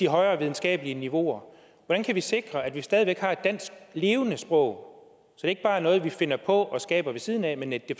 højere videnskabelige niveauer hvordan kan vi sikre at vi stadig væk har et levende dansk sprog så det ikke bare er noget vi finder på og skaber ved siden af men at det